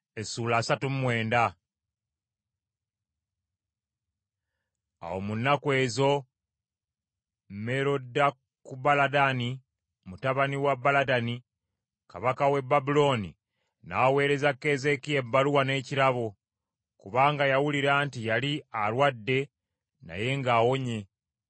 Awo mu nnaku ezo Merodakubaladani mutabani wa Baladani kabaka w’e Babulooni, n’aweereza Keezeekiya ebbaluwa n’ekirabo, kubanga yawulira nti yali alwadde naye ng’awonye.